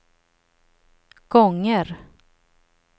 gånger